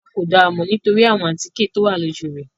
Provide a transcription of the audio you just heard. À kó dáa mọ nitori awọn atike towa loju rẹ